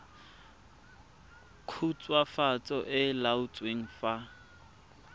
khutswafatso e e laotsweng fa